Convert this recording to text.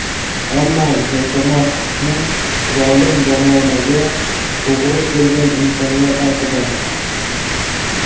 ammo yashamoq hukmi zolim zamonaga to‘g‘ri kelgan insonlar haqida.